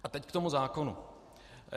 A teď k tomu zákonu.